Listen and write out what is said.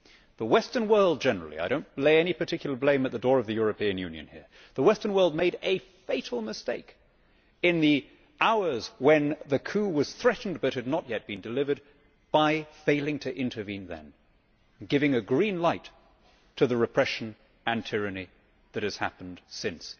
The Western world generally I do not lay any particular blame at the door of the European Union here the Western world made a fatal mistake in the hours when the coup was threatened but had not yet been delivered by failing to intervene then, giving a green light to the repression and tyranny that has happened since.